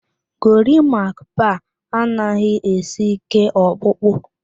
Gorimakpa anaghị esi ike ọkpụkpụ